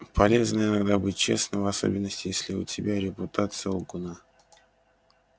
полезно иногда быть честным в особенности если у тебя репутация лгуна